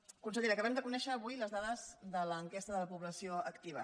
consellera acabem de conèixer avui les dades de l’enquesta de la població activa